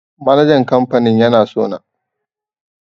Manajan kamfanin yana sona